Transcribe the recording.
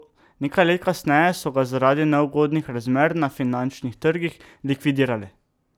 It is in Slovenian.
Nekaj let kasneje so ga zaradi neugodnih razmer na finančnih trgih likvidirali.